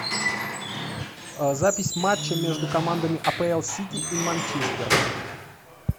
запись матча между командами апл сити и манчестер